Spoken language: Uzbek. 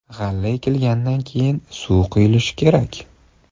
G‘alla ekilgandan keyin, suv quyilishi kerak.